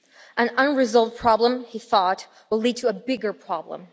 An unresolved problem, he thought, will lead to a bigger problem.